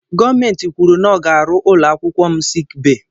Gọọmenti kwụrụ na ọ ga arụ ụlọakwụkwọ m sik bayi.